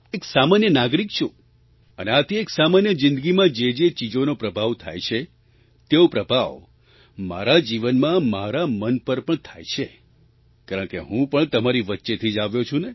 એક સામાન્ય નાગરિક છું અને આથી એક સામાન્ય જિંદગીમાં જે જે ચીજોનો પ્રભાવ થાય છે તેવો પ્રભાવ મારા જીવનમાં મારા મન પર પણ થાય છે કારણકે હું પણ તમારી વચ્ચેથી જ આવ્યો છું ને